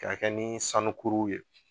K'a kɛ ni sanukuru ye